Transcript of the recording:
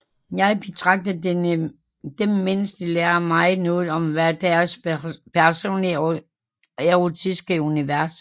Jeg betragter dem mens de lærer mig noget om hver deres personlige erotiske univers